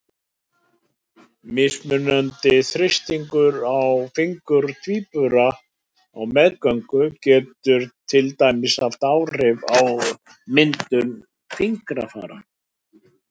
Mismunandi þrýstingur á fingur tvíbura á meðgöngu getur til dæmis haft áhrif á myndun fingrafara.